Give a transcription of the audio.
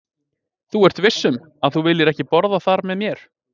Þú ert viss um, að þú viljir ekki borða þar með mér?